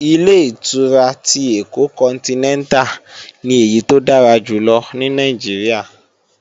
Ilé-ìtura ti Èkó kọntinẹ́ntà ni èyí tó dára jù lọ ní Nàìjíríà